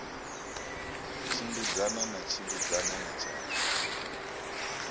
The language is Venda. tshimbidzana na tshimbidzana na tshatha